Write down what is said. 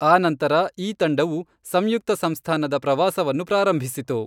ಆನಂತರ ಈ ತಂಡವು ಸಂಯುಕ್ತ ಸಂಸ್ಥಾನದ ಪ್ರವಾಸವನ್ನು ಪ್ರಾರಂಭಿಸಿತು.